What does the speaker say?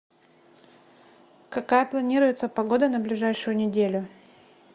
какая планируется погода на ближайшую неделю